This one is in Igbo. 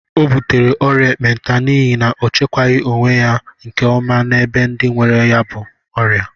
O butere ọrịa ekpenta n'ihi na o chekwaghi onwe ya nke ọma na ebe ndị nwere ya bú ọrịa